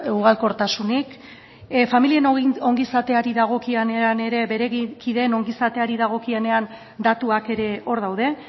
ugalkortasunik familien ongizateari dagokionean ere bere kideen ongizateari dagokionean datuak ere hor daude